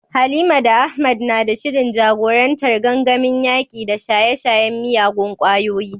Halima da Ahmad na da shirin jagorantar gangamin yaƙi da shaye-shayen miyagun ƙwayoyi.